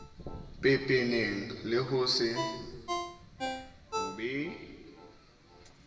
pepeneng le ho se be